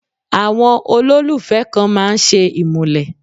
Àwọn olólùfẹ́ kan máa ń ṣe ìmúlẹ̀.